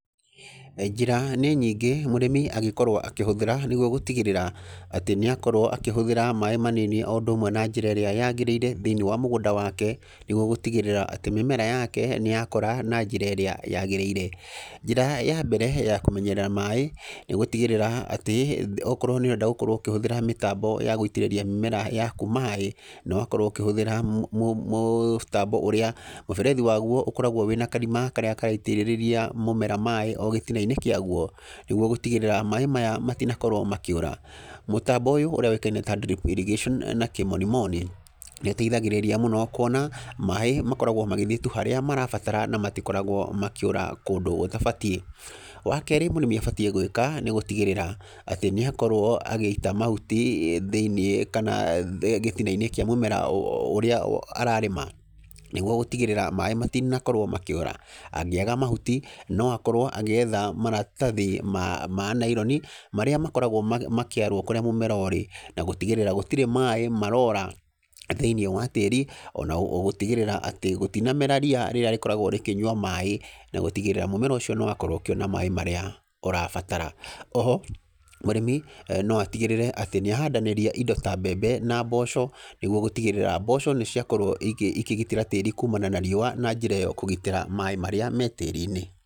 Njĩra nĩ nyingĩ mũrĩmi angĩkorwo akĩhũthĩra nĩguo gũtigĩrĩra, atĩ nĩ akorwo akĩhũthĩra maĩ manini o ũndũ ũmwe na njĩra ĩrĩa yagĩrĩire thĩiniĩ wa mũgũnda wake, nĩguo gũtigĩrĩra atĩ mĩmera yake nĩ yakũra na njĩra ĩrĩa yagĩrĩire. Njĩra ya mbere ya kũmenyerera maĩ, nĩ gũtigĩrĩra atĩ, okorwo nĩ ũrenda gũkorwo ũkĩhũthĩra mĩtambo ya gũitĩrĩria mĩmera yaku maĩ, nĩ wakorwo ũkĩhũthĩra mũtambo ũrĩa, mũberethi wa guo ũkoragwo wĩ na karima karĩa karaitĩrĩrĩria mũmera maĩ o gĩtina-inĩ kĩa guo. Nĩguo gũtigĩrĩra maĩ maya matinakorwo makĩũra. Mũtambo ũyũ ũrĩa ũĩkaine ta drip irrigation na kĩmonimoni, nĩ ũteithagĩrĩria mũno, kuona maĩ makoragwo magĩthiĩ tu harĩa marabatara na matokoragwo makĩũra kũndũ gũtabatiĩ. Wa kerĩ, mũrĩmi abatiĩ gwĩka, nĩ gũtigĩrĩra atĩ nĩ akorwo agĩita mahuti thĩiniĩ kana gĩtina-inĩ kĩa mũmera ũrĩa ararĩma. Nĩguo gũtigĩrĩra maĩ matinakorwo makĩũra. Angĩaga mahuti, no akorwo agĩetha maratathi ma ma naironi, marĩa makoragwo makĩarwo kũrĩa mũmera ũrĩ, na gũtigĩrĩra gũtirĩ maĩ marora thĩiniĩ wa tĩri, ona gũtigĩrĩra atĩ gũtinamera ria rĩrĩa rĩkoragwo rĩkĩnyua maĩ, na gũtigĩrĩra mũmera ũcio nĩ wakorwo ũkĩona maĩ marĩa ũrabatara. Oho, mũrĩmi no atigĩrĩre atĩ nĩ ahandanĩria indo ta mbembe na mboco, nĩguo gũtigĩrĩra mboco nĩ ciakorwo ikĩgitĩra tĩri kumana na riũa na njĩra ĩyo kũgitĩra maĩ marĩa me tĩri-inĩ.